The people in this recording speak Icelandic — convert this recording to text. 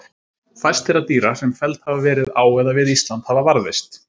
fæst þeirra dýra sem felld hafa verið á eða við ísland hafa varðveist